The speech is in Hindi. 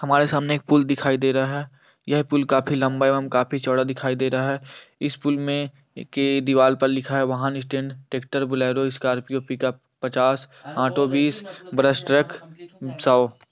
हमारे सामने एक पुल दिखाई दे रहा है यह पुल काफी लम्बा एवं काफी चौडा दिखाई दे रहा है इस पुल में के दिवाल पर लिखा है वाहन स्टैंड ट्रैक्टर बुलेरोस्कर्पियो पिकउप पचास ऑटो बीस बस ट्रक सौ ।